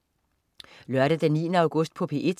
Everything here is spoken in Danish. Lørdag den 9. august - P1: